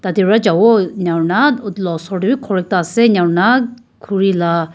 ete para javo enika hoina etu laga oror tae vi ghor ekta ase enika hoina khuri la.